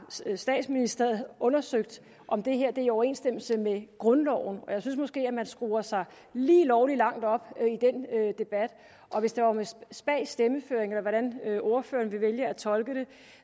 statsministeriet undersøgt om det her er i overensstemmelse med grundloven og jeg synes måske at man skruer sig lige lovlig langt op i den debat hvis det var med spag stemmeføring eller hvordan ordføreren vil vælge at tolke det